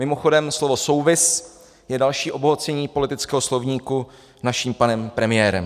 Mimochodem, slovo souvis je další obohacení politického slovníku naším panem premiérem.